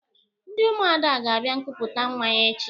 Ndị Ụmụada ga-abịa nkupụta nwa ya echi.